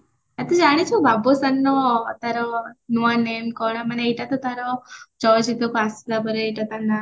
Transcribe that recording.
ଆଛା ଜାଣିଚୁ ବାବୁସାନ୍ ର ତାର ନୂଆ name କଣ ମାନେ ଏଇଟା ତ ତାର ଚଳଚିତ୍ରକୁ ଆସିଲା ପରେ ଏଇଟା ତା ନାଁ